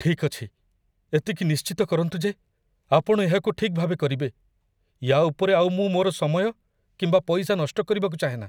ଠିକ୍ ଅଛି, ଏତିକି ନିଶ୍ଚିତ କରନ୍ତୁ ଯେ ଆପଣ ଏହାକୁ ଠିକ୍ ଭାବେ କରିବେ। ୟା' ଉପରେ ଆଉ ମୁଁ ମୋର ସମୟ କିମ୍ବା ପଇସା ନଷ୍ଟ କରିବାକୁ ଚାହେଁନା।